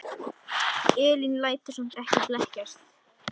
Elín lætur samt ekki blekkjast.